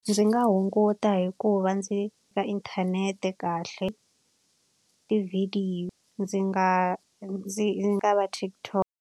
Ndzi nga hunguta hi ku va ndzi inthanete kahle tivhidiyo ndzi nga ndzi nga va TikTok.